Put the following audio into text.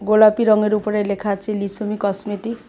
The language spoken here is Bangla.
গোলাপি রঙের উপরে লেখা আছে লিসোমি কসমেটিক্স ।